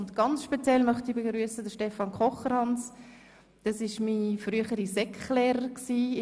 Speziell begrüssen möchte ich Stefan Kocherhans, mein früherer Lehrer in der Sekundarschule.